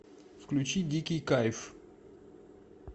включи дикий кайф